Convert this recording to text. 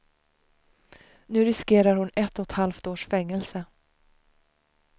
Nu riskerar hon ett och ett halvt års fängelse.